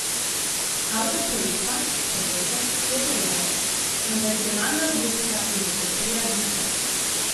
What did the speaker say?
Avtor projekta, profesor , je povedal: 'Konvencionalna robotika je že precej razvita.